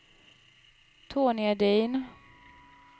Tony Edin